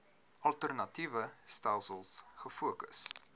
alternatiewe stelsels gefokus